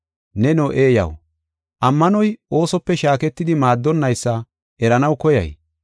Neno eeyaw! Ammanoy oosope shaaketidi maaddonnaysa eranaw koyay?